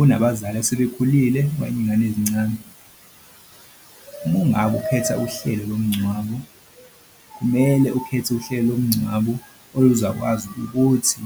Unabazali asebekhulile iy'ngane ezincane. Uma ungabe ukhetha uhlelo lomngcwabo, kumele ukhethe uhlelo lomngcwabo oyozakwazi ukuthi